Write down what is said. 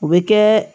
O bɛ kɛ